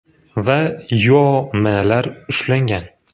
va Yo.M.lar ushlangan.